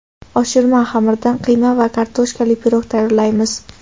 Oshirma xamirdan qiyma va kartoshkali pirog tayyorlaymiz.